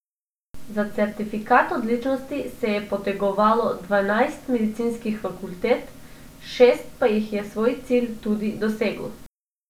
Za certifikat odličnosti se je potegovalo dvanajst medicinskih fakultet, šest pa jih je svoj cilj tudi doseglo.